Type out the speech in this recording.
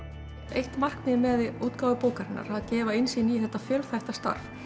eitt markmiðið með útgáfu bókarinnar að gefa innsýn í þetta fjölþætta starf